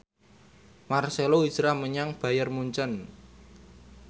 marcelo hijrah menyang Bayern Munchen